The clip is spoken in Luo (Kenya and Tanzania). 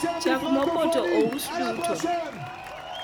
chak mopoto ous duto